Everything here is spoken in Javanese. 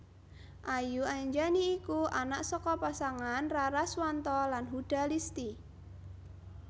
Ayu Anjani iku anak saka pasangan Raraswanto lan Huda Listy